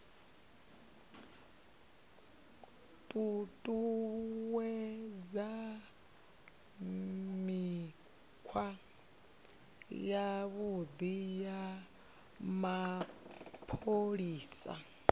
ṱuṱuwedza mikhwa yavhuḓi ya mapholisa